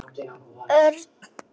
Örn skimaði í kringum sig.